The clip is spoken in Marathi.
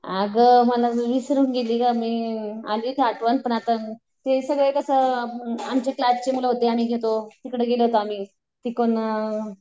अगं मला विसरून गेली गं मी. आली आठवण पण आता हे सगळे कसं आमचे क्लासचे मुलं होते आम्ही घेतो तिकडे गेलो होतो आम्ही.